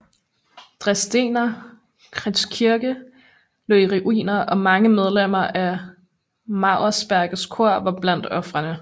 Dresdener Kreuzkirche lå i ruiner og mange medlemmer af Mauersbergers kor var blandt ofrene